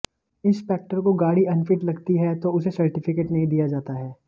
inspector को गाड़ी unfit लगती है तो उसे सर्टिफिकेट नहीं दिया जाता है